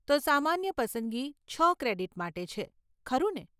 તો સામાન્ય પસંદગી છ ક્રેડિટ માટે છે, ખરું ને?